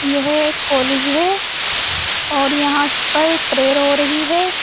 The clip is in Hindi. यह एक कॉलेज है और यहां पर प्रेयर हो रही है।